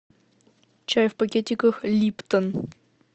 чай в пакетиках липтон